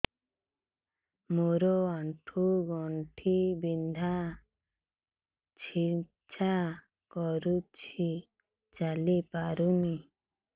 ମୋର ଆଣ୍ଠୁ ଗଣ୍ଠି ବିନ୍ଧା ଛେଚା କରୁଛି ଚାଲି ପାରୁନି